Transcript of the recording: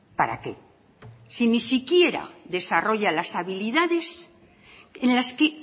para qué si ni siquiera desarrolla las habilidades en las que